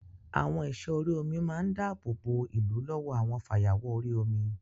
Àwọn ẹ̀sọ́ orí omi máa ń dáàbò bo ìlú lọ́wọ́ àwọn fayawọ̀ orí omi